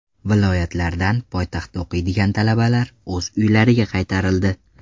Viloyatlardan poytaxtda o‘qiydigan talabalar o‘z uylariga qaytarildi .